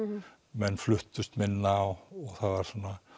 menn fluttust minna og það var